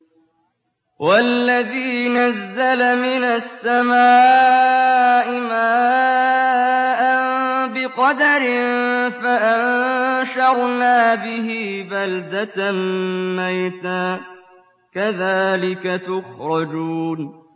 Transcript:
وَالَّذِي نَزَّلَ مِنَ السَّمَاءِ مَاءً بِقَدَرٍ فَأَنشَرْنَا بِهِ بَلْدَةً مَّيْتًا ۚ كَذَٰلِكَ تُخْرَجُونَ